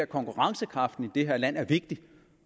konkurrencekraften i det her land er vigtig